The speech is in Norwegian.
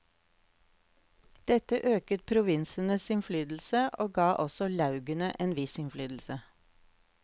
Dette øket provinsenes innflytelse, og ga også laugene en viss innflytelse.